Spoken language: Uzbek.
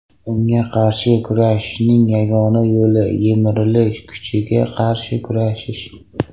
Unga qarshi kurashishning yagona yo‘li yemirilish kuchiga qarshi kurashish.